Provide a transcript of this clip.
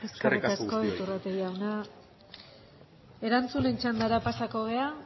eskerrik asko guztioi eskerrik asko iturrate jauna erantzunen txandara pasatuko gara